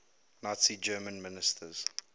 nazi germany ministers